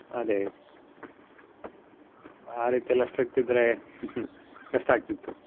ಅದೇ ಆ ರೀತಿಯೆಲ್ಲಾ strict ಇದ್ರೆ ಕಷ್ಟ ಆಗ್ತಿತ್ತು.